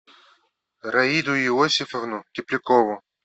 раиду иосифовну теплякову